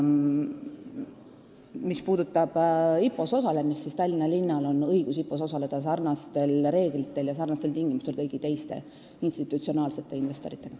Mis puudutab IPO-s osalemist, siis Tallinna linnal on õigus IPO-s osaleda samasugustel tingimustel kui kõigil teistel institutsionaalsetel investoritel.